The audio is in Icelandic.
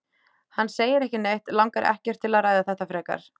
Hann segir ekki neitt, langar ekkert til að ræða þetta frekar.